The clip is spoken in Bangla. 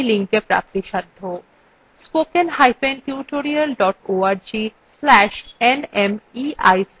spoken hyphen tutorial dot org slash nmeict hyphen intro